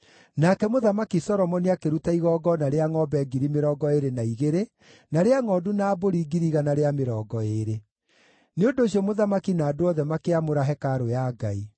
Nake Mũthamaki Solomoni akĩruta igongona rĩa ngʼombe 22,000 na rĩa ngʼondu na mbũri 120,000. Nĩ ũndũ ũcio mũthamaki na andũ othe makĩamũra hekarũ ya Ngai.